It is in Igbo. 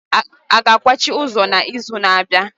A ga-akwachi ụzọ n'izu na-abịa?